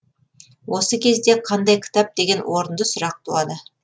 осы кезде қандай кітап деген орынды сұрақ туады